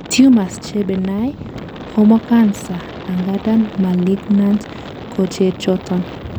tumors che benign koma cancer angandan malignant kochechoton